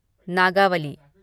Nagavali